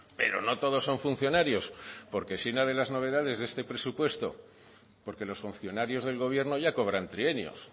pero no todos son funcionarios porque si una de las novedades de este presupuesto porque los funcionarios del gobierno ya cobran trienios